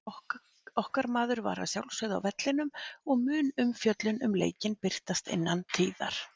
Okkar maður var að sjálfsögðu á vellinum og mun umfjöllun um leikinn birtast innan tíðar.